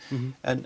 en